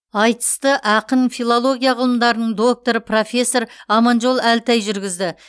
айтысты ақын филология ғылымдарының докторы профессор аманжол әлтай жүргізді